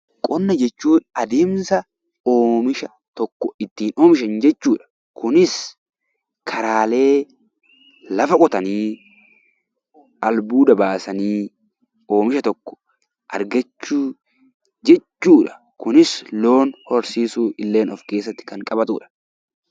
Qonna jechuun adeemsa oomisha tokko ittiin oomishan jechuudha. Kunis karaalee lafa qotanii, albuuda baasanii oomisha tokko argachuu jechuudha. Kunis loon horsiisuu illee kan of keessatti qabatudha.